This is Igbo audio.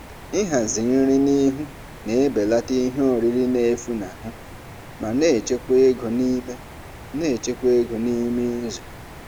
Ịhazi nri n'ihu na-ebelata ihe oriri na-efunahụ ma na-echekwa ego n'ime na-echekwa ego n'ime izu.